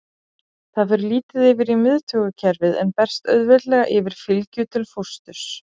Það fer lítið yfir í miðtaugakerfið en berst auðveldlega yfir fylgju til fósturs.